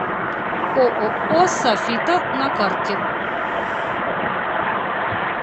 ооо софита на карте